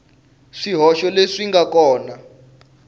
swihoxo leswi swi nga kona